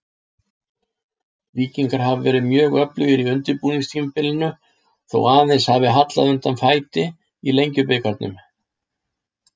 Víkingar hafa verið mjög öflugir á undirbúningstímabilinu þó aðeins hafi hallað undan fæti í Lengjubikarnum.